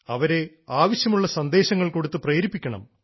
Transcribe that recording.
അവരെ ആവശ്യമുള്ള സന്ദേശങ്ങൾ കൊടുത്ത് പ്രേരിപ്പിക്കണം